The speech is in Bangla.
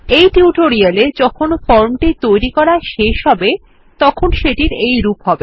এই টিউটোরিয়ালে যখন ফর্ম টি তৈরী করা শেষ হবে তখন সেটি এইরকম হবে